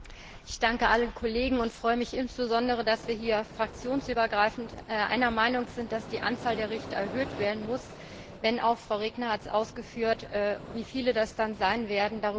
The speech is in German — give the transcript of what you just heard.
Herr Präsident! Ich danke allen Kollegen und freue mich insbesondere, dass wir hier fraktionsübergreifend einer Meinung sind, dass die Anzahl der Richter erhöht werden muss, denn auch Frau Regner hat ausgeführt, wie viele das dann sein werden.